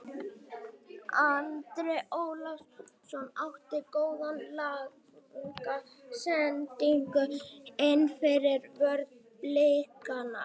Andri Ólafsson átti góða langa sendingu innfyrir vörn Blikana.